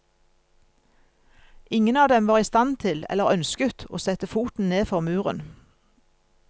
Ingen av dem var i stand til, eller ønsket, å sette foten ned for muren.